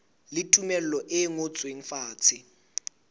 le tumello e ngotsweng fatshe